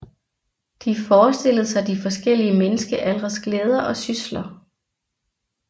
De forestillede De forskellige menneskealdres glæder og sysler